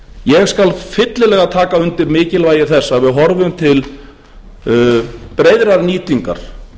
ég skal fyllilega taka undir mikilvægi þess að við horfum til breiðrar nýtingar